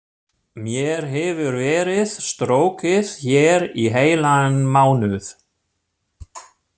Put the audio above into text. Mér hefur verið strokið hér í heilan mánuð.